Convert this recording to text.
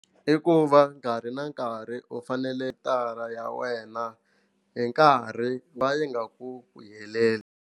I ku va nkarhi na nkarhi u fanele datara ya wena hi nkarhi ku va yi nga ku ku heleli.